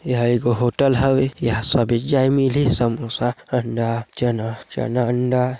एहा एगो होटल हवे इहाँ सबे चीज मिलही समोसा अंडा चना चना अंडा--